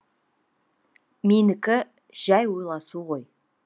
менікі жәй ойласу ғой